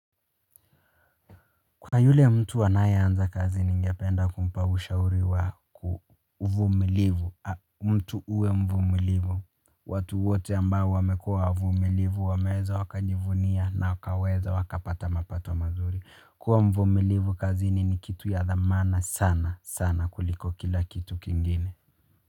Kwa yule mtu anayeanza kazini ningependa kumpa ushauri wa uvumilivu, mtu uwe mvumilivu, watu wote ambao wamekua wavumilivu, wameweza wakajivunia na wakaweza wakapata mapato mazuri, kuwa mvumilivu kazini ni kitu ya dhamana sana, sana kuliko kila kitu kingine.